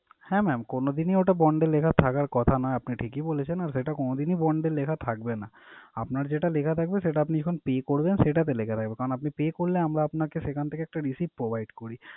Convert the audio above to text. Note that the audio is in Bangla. হ্যাঁ mam কোনদিন ই ওটা bond এ লেখা থাকার কথা না, আপনি ঠিক ই বলেছেন। আর সেটা কোনদিন ই bond এ লেখা থাকবে না। আপনার যেটা লেখা থাকবে সেটা আপনি যখন pay করবেন সেটাতে লেখা থাকবে। কারণ আপনি pay করলে আমরা আপনাকে সেখান থেকে একটা resit provide করি।